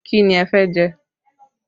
Kí ni ẹ fẹ́ jẹ?